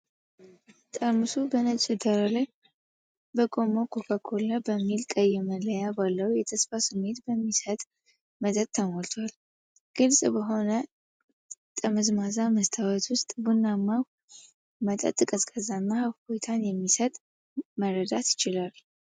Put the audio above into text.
ጠርሙሱ በነጭ ዳራ ላይ በቆመው ኮካ ኮላ በሚል ቀይ መለያ ባለው የተስፋ ስሜት በሚሰጥ መጠጥ ተሞልቷል። ግልፅ በሆነ ጠመዝማዛ መስታወት ውስጥ ቡናማው መጠጥ ቀዝቃዛና እፎይታን እንደሚሰጥ መረዳት ይቻላል።